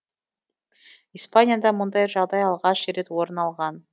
испанияда мұндай жағдай алғаш рет орын алған